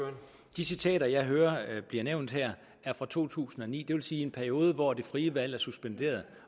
de citater jeg hører blive nævnt her er fra to tusind og ni det vil sige en periode hvor det frie valg er suspenderet